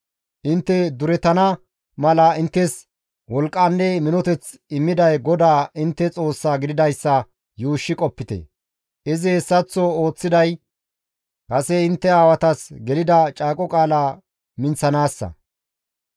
Intte durettana mala inttes wolqqanne minoteth immiday GODAA intte Xoossaa gididayssa yuushshi qopite; izi hessaththo ooththiday kase intte aawatas gelida caaqo qaala minththanaassa.